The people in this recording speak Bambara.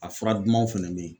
A fura dumanw fɛnɛ bɛ yen.